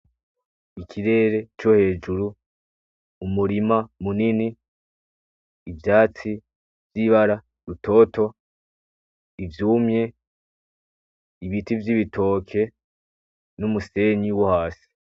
Ikirere co hejuru umurima munini ,ivyatsi vyibara rutoto ,ivyumye ibiti vyibitoke numusenyi wo hasi.